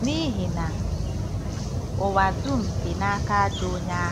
N’ihi na “ụwa dum dị n’aka ajọ onye ahụ.”